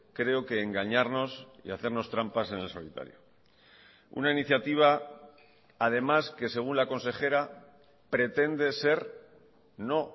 creo que engañarnos y hacernos trampas en el solitario una iniciativa además que según la consejera pretende ser no